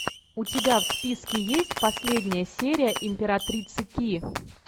у тебя в списке есть последняя серия императрицы ки